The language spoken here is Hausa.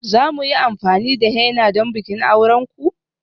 Za mu yi amfani da henna don bikin auren ku?